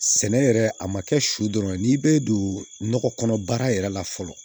Sɛnɛ yɛrɛ a ma kɛ su dɔrɔn ye n'i bɛ don nɔgɔ kɔnɔ baara yɛrɛ la fɔlɔ